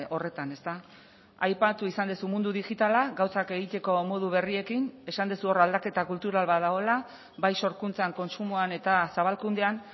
horretan aipatu izan duzu mundu digitala gauzak egiteko modu berriekin esan duzu hor aldaketa kultural bat dagoela bai sorkuntzan kontsumoan eta zabalkundean